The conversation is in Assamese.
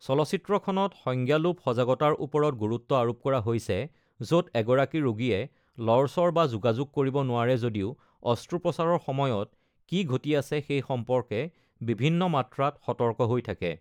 চলচ্চিত্ৰখনত সংজ্ঞালোপ সজাগতাৰ ওপৰত গুৰুত্ব আৰোপ কৰা হৈছে, য’ত এগৰাকী ৰোগীয়ে লৰচৰ বা যোগাযোগ কৰিব নোৱাৰে যদিও অস্ত্ৰোপচাৰৰ সময়ত কি ঘটি আছে সেই সম্পৰ্কে বিভিন্ন মাত্ৰাত সতৰ্ক হৈ থাকে।